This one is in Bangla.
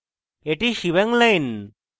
এটি shebang line